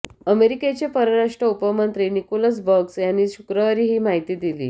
अमेरिकेचे परराष्ट्र उपमंत्री निकोलस बर्न्स यांनीच शुक्रवारी ही माहिती दिली